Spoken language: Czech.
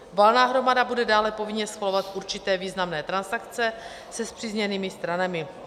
Valná hromada bude dále povinně schvalovat určité významné transakce se spřízněnými stranami.